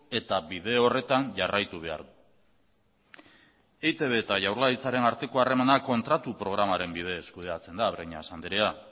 eta bide horretan jarraitu behar du eitb eta jaurlaritzaren arteko harremanak kontratu programaren bidez kudeatzen da breñas anderea